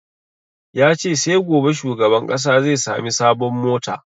Ya ce sai gobe shugaban ƙasa zai sami sabon mota